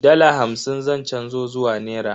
Dala hamsin zan canzo zuwa nera.